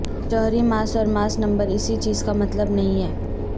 جوہری ماس اور mass number اسی چیز کا مطلب نہیں ہے